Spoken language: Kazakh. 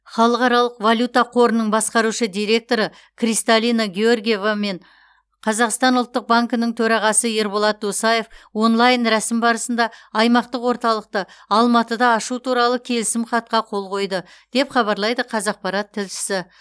халықаралық валюта қорының басқарушы директоры кристалина георгиева мен қазақстан ұлттық банкінің төрағасы ерболат досаев онлайн рәсім барысында аймақтық орталықты алматыда ашу туралы келісім хатқа қол қойды деп хабарлайды қазақпарат тілшісі